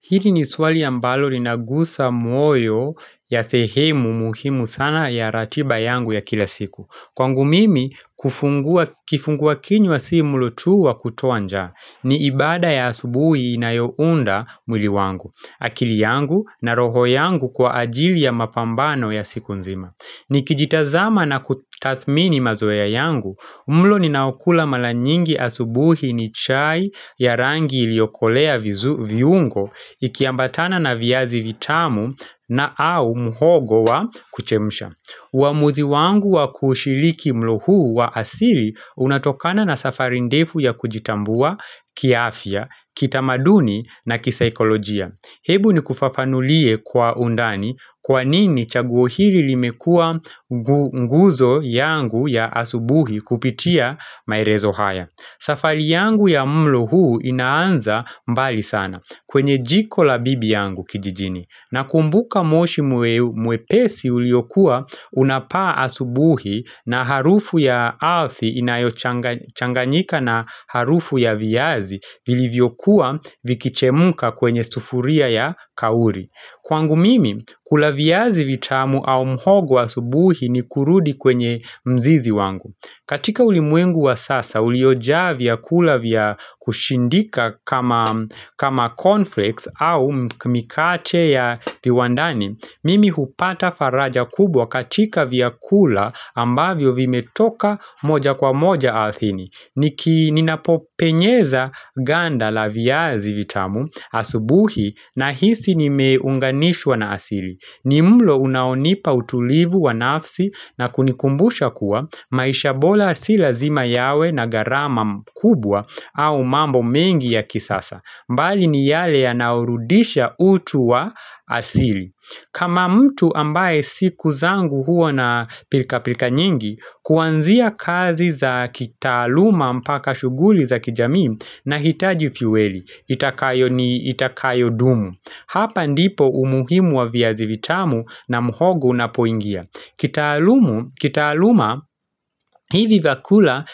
Hili ni swali ambalo linagusa moyo ya sehemu muhimu sana ya ratiba yangu ya kila siku. Kwangu mimi, kifungua kinywa si mlo tu wa kutoa njaa, ni ibada ya asubuhi inayounda mwili wangu, akili yangu na roho yangu kwa ajili ya mapambano ya siku nzima. Nikijitazama na kutathmini mazoea yangu, mlo ninaokula mara nyingi asubuhi ni chai ya rangi iliyokolea viungo ikiambatana na viazi vitamu na au muhogo wa kuchemsha. Uamuzi wangu wa kushiriki mlo huu wa asili unatokana na safari ndefu ya kujitambua kiafya, kitamaduni na kisaikolojia. Hebu nikufafanulie kwa undani kwa nini chaguo hili limekuwa nguzo yangu ya asubuhi kupitia maelezo haya. Safari yangu ya mlo huu inaanza mbali sana kwenye jiko la bibi yangu kijijini. Nakumbuka moshi mwepesi uliokuwa unapaa asubuhi na harufu ya alfi inayochanganyika na harufu ya viazi vilivyokuwa vikichemka kwenye sufuria ya kauri. Kwangu mimi, kula viazi vitamu au mhogo asubuhi ni kurudi kwenye mzizi wangu. Katika ulimwengu wa sasa, uliojaa vyakula vya kushindika kama cornflakes au mikate ya viwandani, Mimi hupata faraja kubwa katika vyakula ambavyo vimetoka moja kwa moja ardhini. Ni ninapopenyeza ganda la viazi vitamu asubuhi nahisi nimeunganishwa na asili. Ni mlo unaonipa utulivu wa nafsi na kunikumbusha kuwa maisha bora si lazima yawe na gharama mkubwa au mambo mengi ya kisasa. Mbali ni yale yanaorudisha utu wa asili. Kama mtu ambaye siku zangu huwa na pilka pilka nyingi, kuanzia kazi za kitaaluma mpaka shughuli za kijamii nahitaji fueli. Itakayo ni itakayodumu. Hapa ndipo umuhimu wa viazi vitamu na muhogo unapoingia. Kitaalumu, kitaaluma hivi vyakula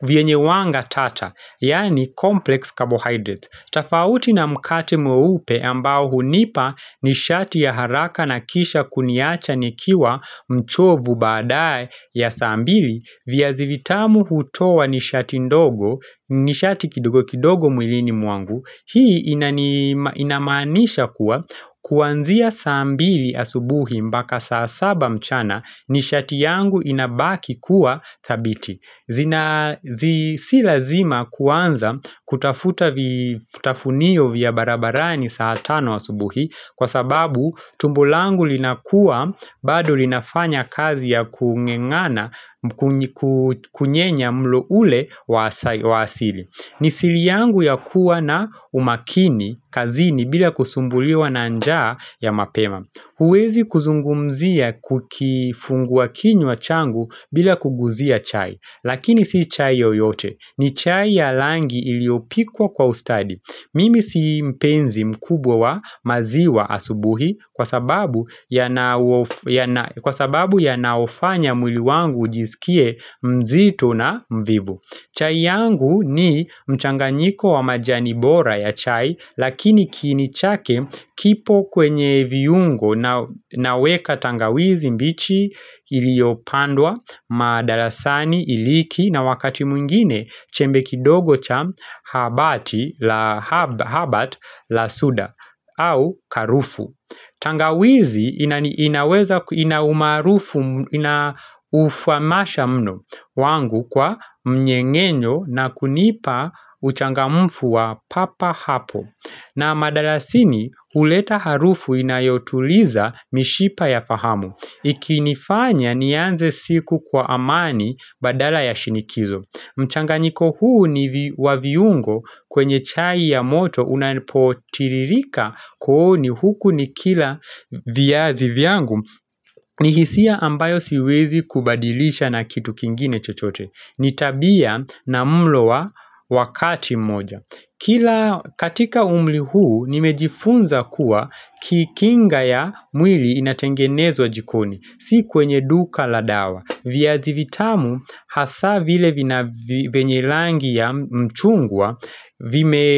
vyenye wanga tata, yaani complex carbohydrates, tofauti na mkate mweupe ambao hunipa nishati ya haraka na kisha kuniacha nikiwa mchovu baadae ya saa mbili viazi vitamu hutoa nishati ndogo, nishati kidogo kidogo mwilini mwangu. Hii inamaanisha kuwa kuanzia saa mbili asubuhi mpaka saa saba mchana nishati yangu inabaki kuwa thabiti zina si lazima kuanza kutafuta vitafunio vya barabarani saa tano asubuhi kwa sababu tumbo langu linakuwa bado linafanya kazi ya kung'engana kunyenya mlo ule wa asili. Ni siri yangu ya kuwa na umakini kazini bila kusumbuliwa na njaa ya mapema. Huwezi kuzungumzia kukifungua kinywa changu bila kuguzia chai, Lakini si chai yoyote ni chai ya rangi iliyopikwa kwa ustadi. Mimi si mpenzi mkubwa wa maziwa asubuhi. Kwa sababu yanaufanya mwili wangu ujisikie mzito na mvivu. Chai yangu ni mchanganyiko wa majani bora ya chai lakini kiini chake kipo kwenye viungo, naweka tangawizi mbichi iliyopandwa, madarasani, iliki na wakati mwingine chembe kidogo cha habati la habat la suda au karufu. Tangawizi inaweza ina umaarufu inaufuamasha mno wangu kwa mng'eng'enyo na kunipa uchangamfu wa papa hapo na madalasini huleta harufu inayotuliza mishipa ya fahamu. Ikinifanya nianze siku kwa amani badala ya shinikizo. Mchanganyiko huu ni wa viungo kwenye chai ya moto unapotiririka kwa hu ni huku nikila viazi vyangu ni hisia ambayo siwezi kubadilisha na kitu kingine chochote. Ni tabia na mlo wa wakati mmoja. Kila katika umri huu nimejifunza kuwa kikinga ya mwili inatengenezwa jikoni. Si kwenye duka la dawa. Viazi vitamu hasa vile vina vyenye rangi ya mchungwa vime.